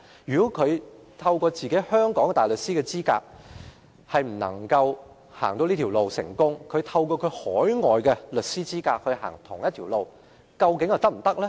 因此，如果本地大律師未能成功循這條路轉業，那麼海外律師走相同的路又會否成功？